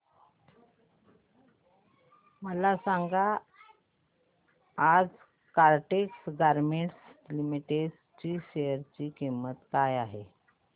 मला सांगा आज काइटेक्स गारमेंट्स लिमिटेड च्या शेअर ची किंमत काय आहे